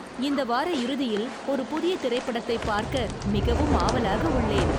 இந்த வார இறுதியில் ஒரு புதிய திரைப்படத்தைப் பார்க்க மிகவும் ஆவலாக உள்ளேன்!